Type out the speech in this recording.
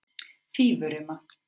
Fífurima